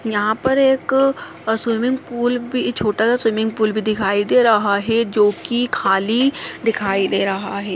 यहाँ पर एक अ स्विमिंग पूल भी छोटा सा स्विमिंग पूल भी दिखाई दे रहा है जो की खाली दिखाई दे रहा है।